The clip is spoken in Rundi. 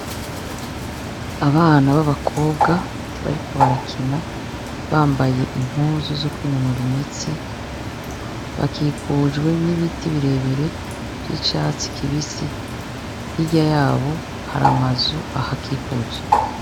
Abana b'abakobwa bariko barakina, bambaye impuzu zo kwinonora imitsi, bakikujwe n'ibiti birebire vy'icatsi kibisi, hirya yabo hari amazu ahakikuje.